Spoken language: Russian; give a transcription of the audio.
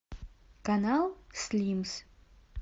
канал слимс